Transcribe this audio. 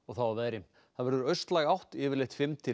þá að veðri það verður austlæg átt yfirleitt fimm til